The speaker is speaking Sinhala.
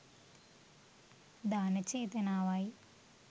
දාන චේතනාව යි.